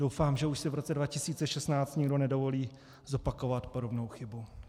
Doufám, že už si v roce 2016 nikdo nedovolí zopakovat podobnou chybu.